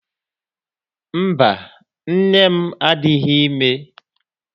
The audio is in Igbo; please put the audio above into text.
Mba, nne m adịghị ime.